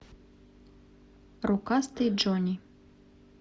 рукастый джонни